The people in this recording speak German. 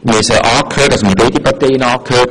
Wir haben beide Parteien angehört.